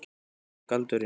Hver er galdurinn?